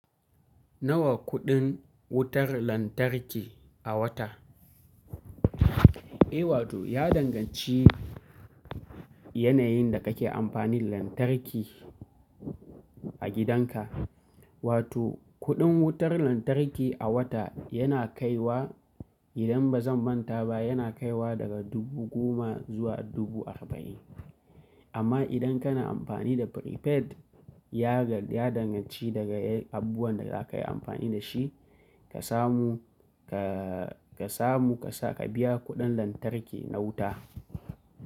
Nawa kuɗin wutar lantarki a wata? Eh wato ya danganci yanayin da kake amfani lantarki a gidanka. Wato kuɗin wutar lantarki a wata yana kaiwa idan ba zan manta ba yana kaiwa daga dubu goma zuwa dubu arba'in. Amma idan kana amfani da prepaid ya ga, ya danganci daga abubuwan da zakayi amfani da shi ka samu ka ka samu ka sa ka biya kuɗin lantarki na wuta.